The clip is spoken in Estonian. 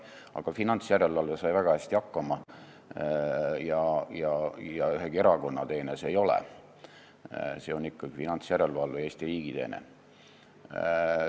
Aga finantsjärelevalve sai väga hästi hakkama ja ühegi erakonna teene see ei ole, see on ikkagi finantsjärelevalve, Eesti riigi teene.